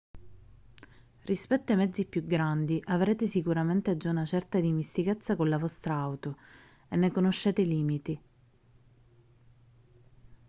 rispetto ai mezzi più grandi avrete sicuramente già una certa dimestichezza con la vostra auto e ne conoscete i limiti